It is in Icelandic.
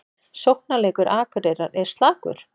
Sóknarleikur Akureyrar er slakur